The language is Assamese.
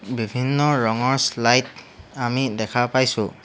বিভিন্ন ৰঙৰ শ্লাইদ আমি দেখা পাইছোঁ।